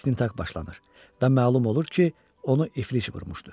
İstintaq başlanır və məlum olur ki, onu iflic vurmuşdu.